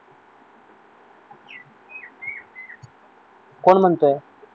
कोण म्हणतय